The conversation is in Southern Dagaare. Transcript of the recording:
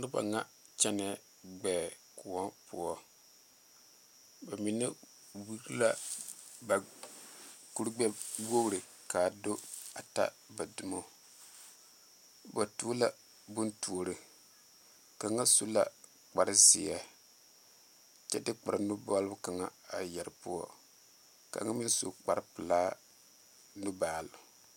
Noba ŋa kyɛnɛ gbɛɛ koɔ poɔ ba mine wiri la ba kurigbɛwogri ka a di a ta ba dumo ba tuo la bontuori kaŋa su la kparezeɛ kyɛ de kparenubol kaŋa a yɛre poɔ kaŋa meŋ su kparepelaa nubaali.